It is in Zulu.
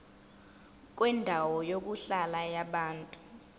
kwendawo yokuhlala yabantu